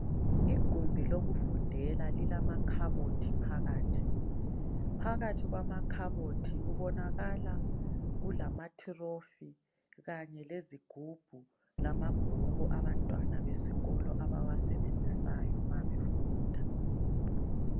Igumbi lokufundela lilamakhabothi phakathi, phakathi kwamakhabothi kubonakala kulamathirofi kanye lezigubhu lamabhuku abantwana besikolo abawasebenzisayo mabefunda.